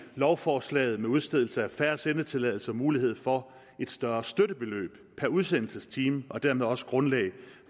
lovforslaget med udstedelsen af færre sendetilladelser også mulighed for et større støttebeløb per udsendelsestime og dermed også et grundlag